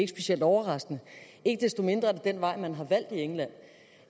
specielt overraskende ikke desto mindre er det den vej man har valgt i england